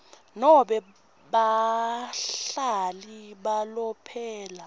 nobe bahlali balomphelo